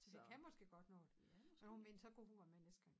Det kan måske godt nå det så hun mente så kunne hun være med næste gang